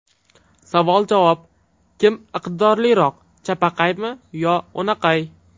Savol-javob: Kim iqtidorliroq chapaqaymi yo o‘naqay?.